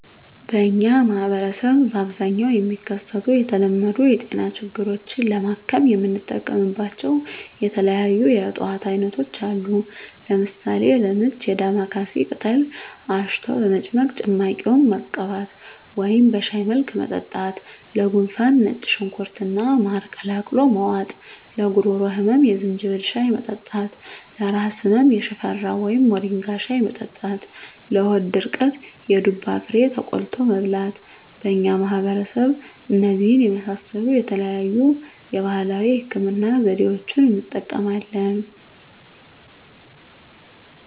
በእኛ ማህበረሰብ በአብዛኛው የሚከሰቱ የተለመዱ የጤና ችግሮችን ለማከም የምንጠቀምባቸው የተለያዩ የእፅዋት አይነቶች አሉ። ለምሳሌ፦ -ለምች የዳማካሴ ቅጠል አሽቶ በመጭመቅ ጭማቂውን መቀባት ወደም በሻይ መልክ መጠጣት -ለጉንፋን ነጭ ሽንኩርት እና ማር ቀላቅሎ መዋጥ -ለጉሮሮ ህመም የዝንጅብል ሻይ መጠጣት -ለራስ ህመም የሽፈራው ወይም ሞሪንጋ ሻይ መጠጣት -ለሆድ ድርቀት የዱባ ፍሬ ተቆልቶ መብላት በእኛ ማህበረሰብ እነዚህን የመሳሰሉ የተለያዩ የባህላዊ ህክምና ዘዴዋችን እንጠቀማለን።